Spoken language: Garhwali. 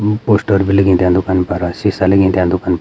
उ पोस्टर भी लगीं त्यां दुकानी पर सीसा लगीं त्यां दुकन --